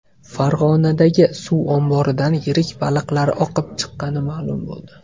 Farg‘onadagi suv omboridan yirik baliqlar oqib chiqqani ma’lum bo‘ldi.